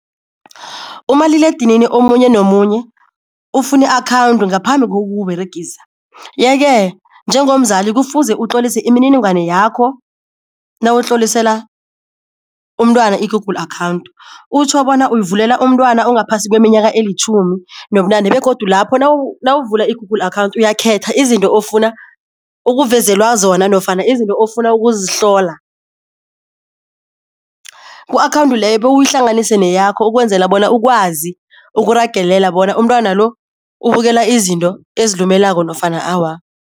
Umaliledinini omunye nomunye ufuna i-akhawundi ngaphambi kokuwUberegisa yeke njengomzali kufuze utlolise imininingwane yakho nawutlolisela umntwana i-Google Account, utjho bona uyivulela umntwana ongaphasi kweminyaka elitjhumi nobunane, begodu lapho nawuvula i-Google Account uyakhetha izinto ofuna ukuvezelwa zona nofana izinto ofuna ukuzihlola. Ku-akhawundi leyo bewuyihlanganise neyakho ukwenzela bona ukwazi ukuragelela bona umntwana lo ubukela izinto ezilumelako nofana awa.